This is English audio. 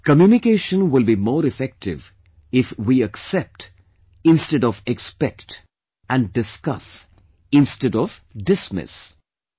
Communication will be more effective if we "accept" instead of "expect" and "discuss" instead of "dismiss"